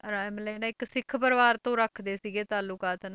ਮਤਲਬ ਨਾ ਇੱਕ ਸਿੱਖ ਪਰਿਵਾਰ ਤੋਂ ਰੱਖਦੇ ਸੀਗੇ ਤਾਲੂਕਾਤ